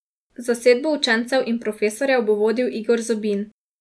Zasedbo učencev in profesorjev bo vodil Igor Zobin.